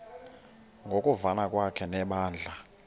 ngokuvana kwakhe nebandla